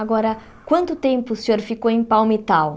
Agora, quanto tempo o senhor ficou em Palmitau?